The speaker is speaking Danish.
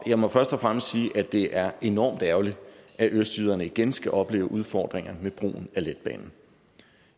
jeg må først og fremmest sige at det er enormt ærgerligt at østjyderne igen skal opleve udfordringer med brugen af letbanen